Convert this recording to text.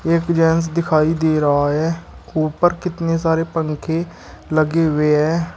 एक जेन्स दिखाई दे रहा है ऊपर कितने सारे पंखे लगे हुए हैं।